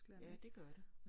Ja det gør det